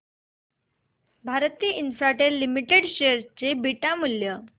Bharti Infratel limited share चे beta मूल्य